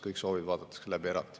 Kõik soovid vaadatakse läbi eraldi.